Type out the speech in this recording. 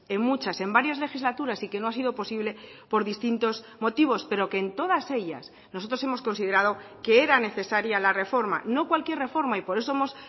en muchas en varias legislaturas y que no ha sido posible por distintos motivos pero que en todas ellas nosotros hemos considerado que era necesaria la reforma no cualquier reforma y por eso hemos